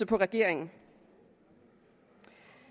på regeringen